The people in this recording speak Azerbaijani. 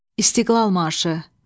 İstiqlal marşı.